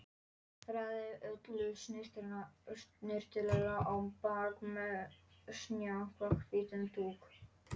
Raðaði öllu snyrtilega á bakka með snjakahvítum dúk.